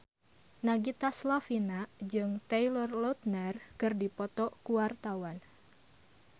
Nagita Slavina jeung Taylor Lautner keur dipoto ku wartawan